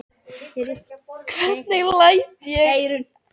Hvernig læt ég?